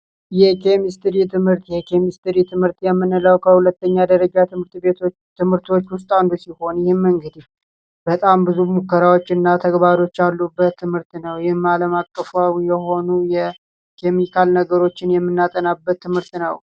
የኬሚስትሪ ትምህርት የኬሚስትሪ ትምህርት የምንለው የሁለተኛ ደረጃ ትምህርቶች ውስጥ አንዱ ሲሆን እንግዲ በጣም ብዙ ሙከራዎችንና ተግባሮችን ያሉበት ትምህርት ነው ይህን አለም አቀፍ የሆኑት ኬሚካል የሆኑ ነገሮችን የምናጠናበት ትምህርት ነው።